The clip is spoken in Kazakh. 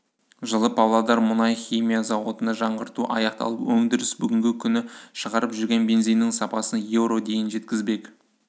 жылы павлодар мұнай-химия зауытында жаңғырту аяқталып өндіріс бүгінгі күні шығарып жүрген бензиннің сапасын еуро дейін жеткізбек